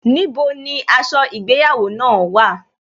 Níbo ni aṣọ ìgbéyàwó náà wà?